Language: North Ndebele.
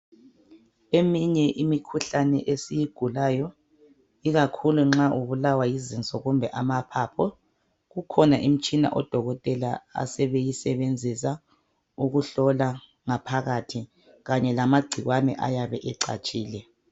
Eminye imikhuhlane esiyigulayo ikakhulu nxa ubulawa yizinso kumbe amaphaphu kukhona imitshina odokotela asebeyisebenzisa ukuhlola ngaphakathi kanye lamagcikwane ayabe ecatshile